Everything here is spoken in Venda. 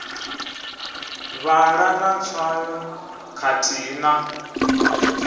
vhala na tswayo khathihi na